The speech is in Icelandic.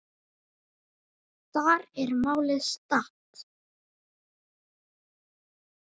Þar er málið statt.